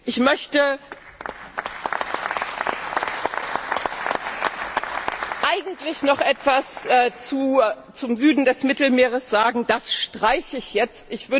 Ich wollte eigentlich noch etwas zum Süden des Mittelmeeres sagen. Das streiche ich jetzt.